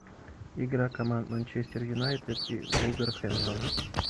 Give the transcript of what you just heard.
игра команд манчестер юнайтед и вулверхэмптон